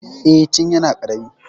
Eh, tun yana ƙarami.